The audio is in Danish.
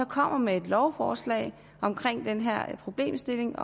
kommer med et lovforslag om den her problemstilling